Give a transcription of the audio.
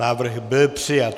Návrh byl přijat.